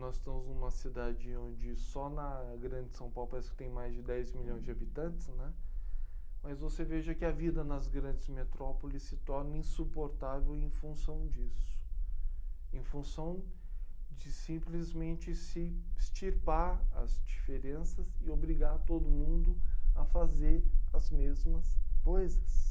Nós estamos numa cidade onde só na grande São Paulo parece que tem mais de dez milhões de habitantes, né? Mas você veja que a vida nas grandes metrópoles se torna insuportável em função disso, em função de simplesmente se extirpar as diferenças e obrigar todo mundo a fazer as mesmas coisas.